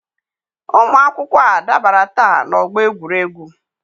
Ụmụ akwụkwọ a dabara taa n'ọgbọ egwuregwu.